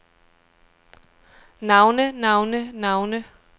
navne navne navne